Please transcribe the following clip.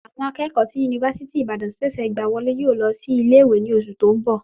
Àwọn akẹ́kọ̀ọ́ tí yunifásítì Ìbàdàn ṣẹ̀ṣẹ̀ gbà wọlé yóò lọ sí ilé ìwé ní oṣù tó ń bọ̀.